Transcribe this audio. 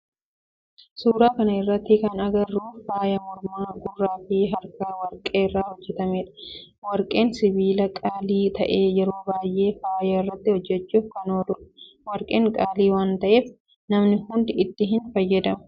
Suuraa kana irratti kan agarru faaya mormaa, gurraa fi harkaa warqee irraa hojjetamedha. Warqeen sibiila qaalii ta'ee yeroo baayyee faaya irraa hojjechuf kan ooludha. Warqeen qaalii waan ta'eef namni hundi itti hin fayyadamu.